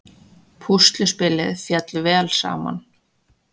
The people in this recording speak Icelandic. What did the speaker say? Púsluspilið féll vel saman